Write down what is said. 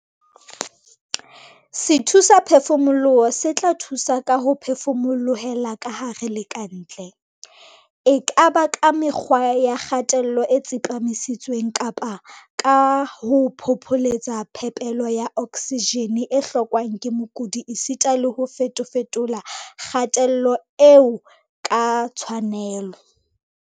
Sethusaphefumoloho se tla thusa ka ho phefumolohela kahare le ka ntle, e ka ba ka mekgwa ya kgatello e tsepamisitsweng kapa ka ho phopholetsa phepelo ya oksijene e hlokwang ke mokudi esita le ho fetofetola kgatello eo ka tshwanelo.